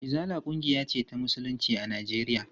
Izala ƙungiya ce ta musulunci a Najeriya.